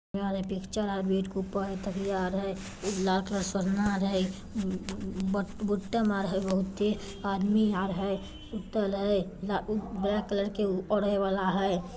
ये वला पिक्चर है बेड ऊपर तकिया है लाल कलर बहुते आदमी आर है ब्लैक कलर के ओढ़े वाला है।